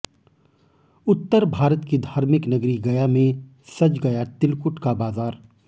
उत्तर भारत की धार्मिक नगरी गया में सज गया तिलकुट का बाजार